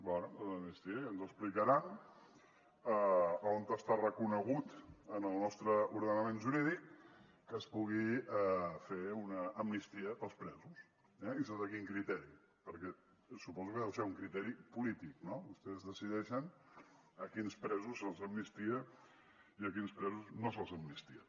bé l’amnistia ja ens explicaran on està reconegut en el nostre ordenament jurídic que es pugui fer una amnistia per als presos eh i sota quin criteri perquè suposo que deu ser un criteri polític no vostès decideixen a quins presos se’ls amnistia i a quins presos no se’ls amnistia